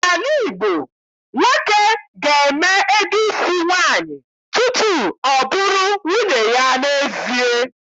N'ala Igbo, nwoke ga-eme ego isi nwaanyị tutu ọ bụrụ nwunye ya n'ezie.